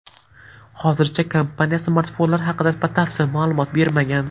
Hozircha kompaniya smartfonlar haqida batafsil ma’lumot bermagan.